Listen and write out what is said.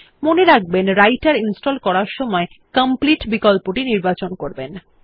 মনে রাখবেনWriter ইনস্টল করার সময় কমপ্লিট বিকল্পটি নির্বাচন করবেন